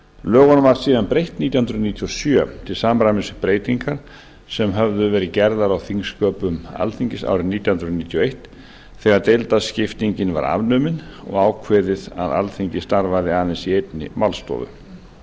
lögunum var síðanbreytt nítján hundruð níutíu og sjö til samræmis við breytingar sem urðu nítján hundruð níutíu og eitt á skipulagi alþingis þegar deildaskiptingin var afnumin og ákveðið að alþingi starfaði aðeins í einni málstofu